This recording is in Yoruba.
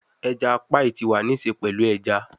Eja paii ti wa ni ṣe pẹlu eja